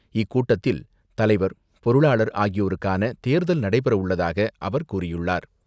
இக்கூட்டத்தில் தலைவர், பொருளாளர் ஆகியோருக்கான தேர்தல் நடைபெற உள்ளதாக அவர் கூறியுள்ளார்.